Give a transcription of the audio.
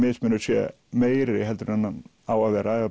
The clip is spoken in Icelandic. munur sé meiri heldur en hann á að vera ef